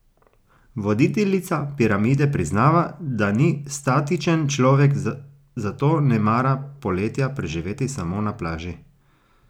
Voditeljica Piramide priznava, da ni statičen človek, zato ne mara poletja preživeti samo na plaži.